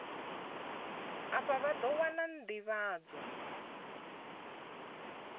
afha vha ḓo wana nḓivhadzo